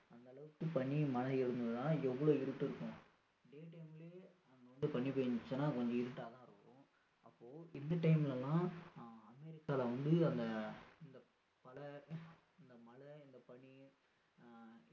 எந்த அளவுக்கு பனி மழை இருந்திருந்தா எவ்ளோ இருட்டு இருக்கும் day time லயே அங்க வந்து பனி பெய்ததுன்னா கொஞ்சம் இருட்டா தான் இருக்கும் அப்போ இந்த time ல எல்லாம் ஆஹ் அமெரிக்காவுல வந்து அந்த அந்த மழை இந்த மழை இந்த பனி